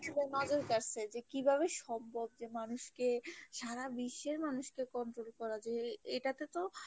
নজর কারসে যে কিভাবে সম্ভব যে মানুষকে সারা বিশ্বের মানুষকে control করা যায় এটাতে তো,